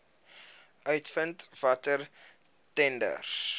uitvind watter tenders